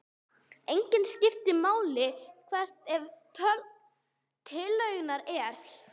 Einnig skiptir máli hvert efni tillögunnar er.